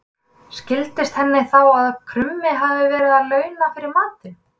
Skildist henni þá að krummi hafði verið að launa fyrir matinn.